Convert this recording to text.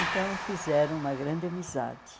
Então fizeram uma grande amizade.